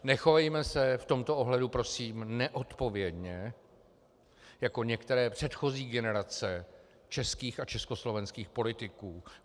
Nechovejme se v tomto ohledu, prosím, neodpovědně jako některé předchozí generace českých a československých politiků.